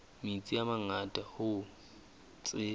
metsi a mangata hoo tse